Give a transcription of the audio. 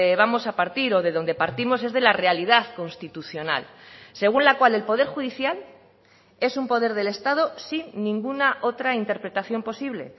vamos a partir o de donde partimos es de la realidad constitucional según la cual el poder judicial es un poder del estado sin ninguna otra interpretación posible